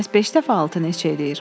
Bəs beş dəfə altı neçə eləyir?